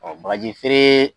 Ɔn bagaji feere